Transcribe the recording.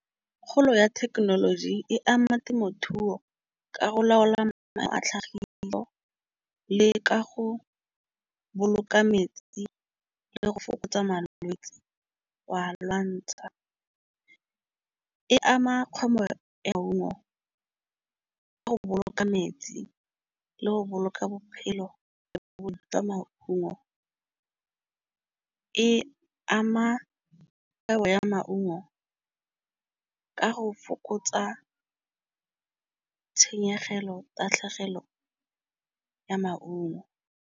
Kgolo ya thekenoloji e ama temothuo. Ka go laola ama a tlhagiso le ka go boloka metsi le go fokotsa malwetsi hwa lwantsha e ama ka go boloka metsi le go boloka bophelo bo bo jwa maungo. E ama kgwebo ya maungo ka go fokotsa tshenyegelo tatlhegelo ya maungo.